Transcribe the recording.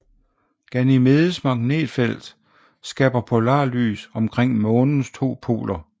Ganymedes magnetfelt skaber polarlys omkring månens to poler